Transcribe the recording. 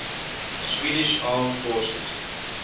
swedish armed forces